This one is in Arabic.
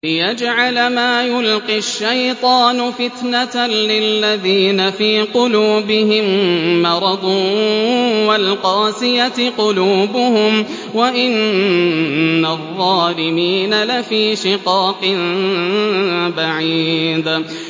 لِّيَجْعَلَ مَا يُلْقِي الشَّيْطَانُ فِتْنَةً لِّلَّذِينَ فِي قُلُوبِهِم مَّرَضٌ وَالْقَاسِيَةِ قُلُوبُهُمْ ۗ وَإِنَّ الظَّالِمِينَ لَفِي شِقَاقٍ بَعِيدٍ